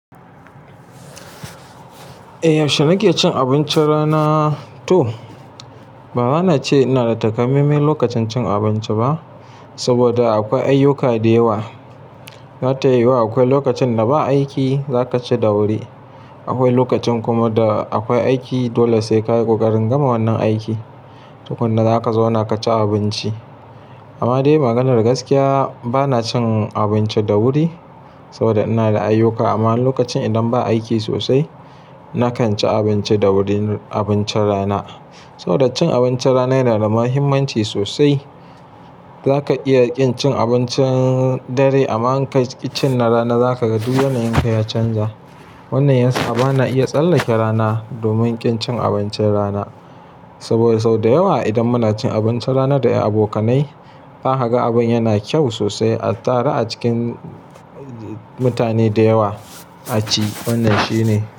Eh, yaushe nake cin abincin rana to? Bara na ce ina da takamaimai lokacin cin abinci ba, saboda akwai ayyuka da yawa. Za tayi yuwa akwai lokacin da ba aiki za ka ci da wuri. Akwai lokacin kuma da akwai aiki, dole sai kayi kokarin gama wannan aiki. Tukunna za ka zauna ka ci abinci. Amma dai maganar gaskiya, ba na cin abinci da wuri saboda ina da ayyuka. Amma lokacin idan ba aiki sosai, na kan ci abinci da wuri abincin rana. Saboda cin abincin rana yana da muhimmanci sosai. Za ka iya kin cin abincin dare amma in ka ci na rana za ka ga duk yanayin ka ya canja. Wannan yasa ba na iya tsallake rana domin kin cin abincin rana. Saboda sau da yawa idan muna cin abincin rana da abokanai, zakaga abin yana kyau sosai a taru a cikin mutane da yawa a ci. Wannan shi ne.